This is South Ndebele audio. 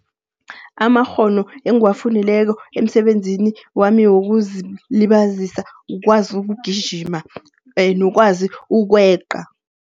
Amakghono engiwafundileko emsebenzini wami wokuzilibazisa, ukwazi ukugijima nokwazi ukweqa.